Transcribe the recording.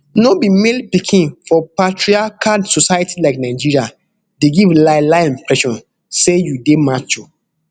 to be male pikin for patriarchal society like nigeria dey give lielie impression say you dey macho